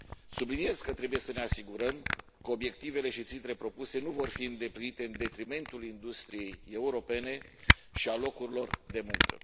Subliniez că trebuie să ne asigurăm că obiectivele și țintele propuse nu vor fi îndeplinite în detrimentul industriei europene și al locurilor de muncă.